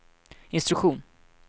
instruktion